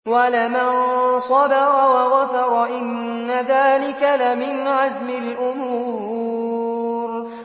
وَلَمَن صَبَرَ وَغَفَرَ إِنَّ ذَٰلِكَ لَمِنْ عَزْمِ الْأُمُورِ